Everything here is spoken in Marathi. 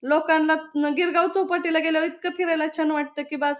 लोकांला न गिरगाव चौपाटीला गेल्यावर इतक फिरायला छान वाटतं की बास--